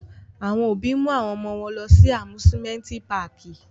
Awọn obi mu awọn ọmọ wọn lọ si awọn Amusimenti Pààki